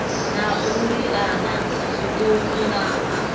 na u liana zwiṱuku na